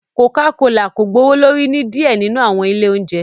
Coca Cola ko gbowolori ni diẹ ninu awọn ile ounjẹ